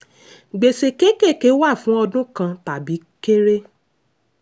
gbèsè kékèké wà fún ọdún kan tàbí kéré.